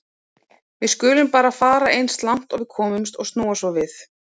Við skulum bara fara eins langt og við komumst og snúa svo við.